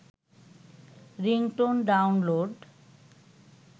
ringtone download